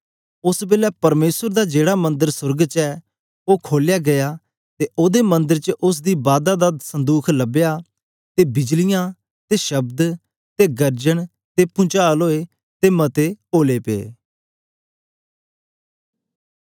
ओस बेलै परमेसर दा जेड़ा मंदर सोर्ग च ऐ ओ खोलया गीया ते ओदे मंदर च उस्स दी बादा दा संदुख लबया ते बिजलियां ते शब्द ते गर्जन ते पुंचाल ओए ते मते ओलै पे